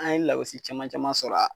An ye lagosi caman caman sɔrɔ